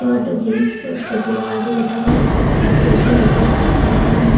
यो टो जीन्स पे टोपी लगा के बैठा हुआ हे उसी के पीछे एक और लड़का बैठा हुआ है।